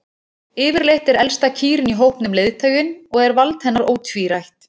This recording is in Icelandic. Yfirleitt er elsta kýrin í hópnum leiðtoginn og er vald hennar ótvírætt.